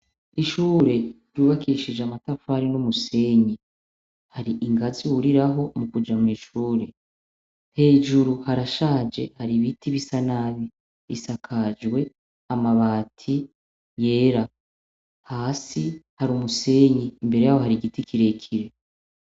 Ishure ryubakishije amatafari n'umuseyi. Hari ingazi wuriraho mu kuja mu ishure. Hejuru harashaje hari ibiti bisa nabi. Isakajwe amabati yera. Hasi hari umuseyi imbere y'aho hari igiti kire kire.